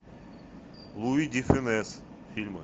луи де фюнес фильмы